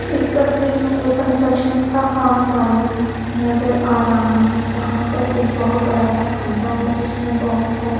इस तस्वीर मे एक कंस्ट्रक्शन काम चालू नज़र आ रहा है जहाँ एक बहुत बड़ा सा खड्डा है उसमे बहुत सारे--